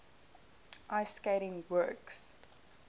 ice skating works